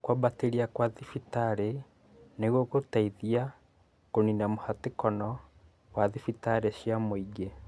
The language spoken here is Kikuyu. kwabatĩria gwa thibitarĩ nĩ gũgũteithia kũniina mũhatĩkano wa thibitarĩ cia mũingĩ.